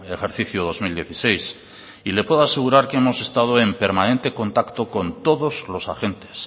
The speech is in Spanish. ejercicio dos mil dieciséis le puedo asegurar que hemos estado en permanente contacto con todos los agentes